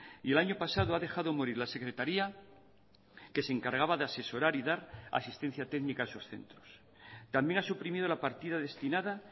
y el año pasado ha dejado morir la secretaría que se encargaba de asesorar y dar asistencia técnica a esos centros también ha suprimido la partida destinada